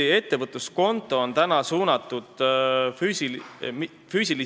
Jah, ettevõtluskonto on tõesti suunatud füüsilistele isikutele.